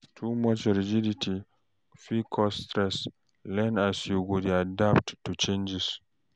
Too much rigidity fit cause stress, learn as you go dey adapt to changes.